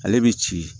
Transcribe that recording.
Ale bɛ ci